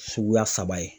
Suguya saba ye